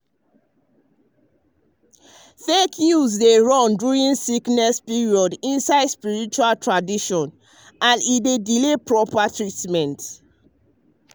fake news dey run during sickness period inside spiritual traditions and e dey delay proper treatment.